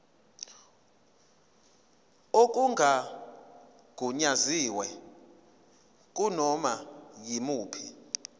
okungagunyaziwe kunoma yimuphi